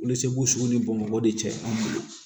Wolosɛbɛn sugu ni bamakɔ de cɛ ye anw bolo